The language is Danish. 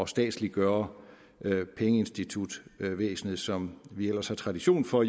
statsliggøre pengeinstitutvæsenet som vi jo ellers har tradition for